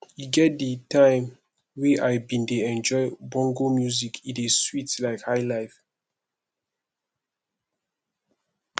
e get di time wey i bin dey enjoy bongo music e dey sweet like highlife